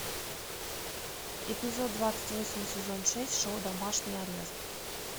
эпизод двадцать восемь сезон шесть шоу домашний арест